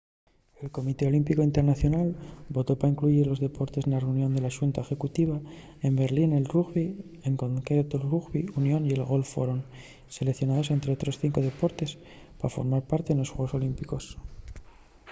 el comité olímpicu internacional votó pa incluyir los deportes na reunión de la xunta executiva güei en berlín el rugbi en concreto'l rugbi union y el golf foron seleicionaos ente otros cinco deportes pa formar parte nos xuegos olímpicos